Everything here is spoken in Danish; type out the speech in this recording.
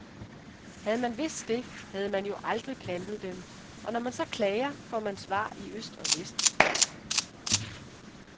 Havde man vidst det, havde man jo aldrig plantet dem, og når man så klager, får man svar i øst og vest.